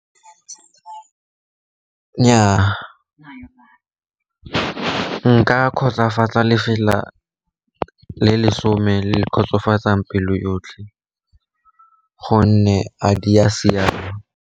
Nnyaa, ka nka kgotsofatsa lefela le lesome le kgotsofatsang pelo yotlhe, gonne a di a siama.